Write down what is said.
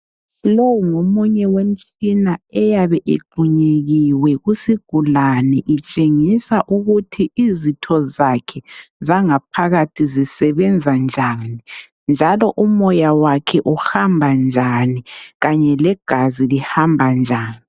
Lo ngomunye wemitshina eyabe igxunyekiwe kusigulane itshengisa ukuthi izitho zakhe zangaphakathi zisebenza njani njalo umoya wakhe uhamba njani kanye legazi lihamba njani.